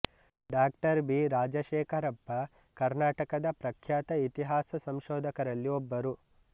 ಡಾ ಬಿ ರಾಜಶೇಖರಪ್ಪ ಕರ್ನಾಟಕದ ಪ್ರಖ್ಯಾತ ಇತಿಹಾಸ ಸಂಶೋಧಕರಲ್ಲಿ ಒಬ್ಬರು